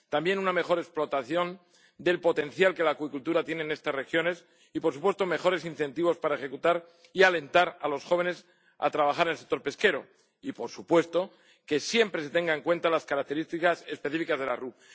También una mejor explotación del potencial que la acuicultura tiene en estas regiones y, por supuesto, mejores incentivos para ejecutar y alentar a los jóvenes a trabajar en el sector pesquero y, por supuesto, que siempre se tengan en cuenta las características específicas de las RUP.